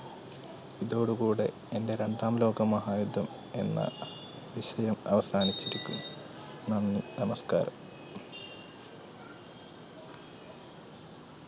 ഇതോടുകൂടെ എൻറെ രണ്ടാം ലോക മഹായുദ്ധം എന്ന വിഷയം അവസാനിച്ചിരിക്കുന്നു. നന്ദി, നമസ്കാരം.